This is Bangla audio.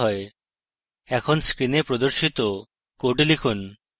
এখন screen প্রদর্শিত code লিখুন